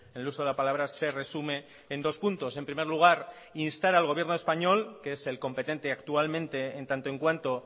el uso de la palabra se resume en dos puntos en primer lugar instar al gobierno español que es el competente actualmente en tanto en cuanto